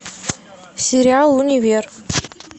сериал универ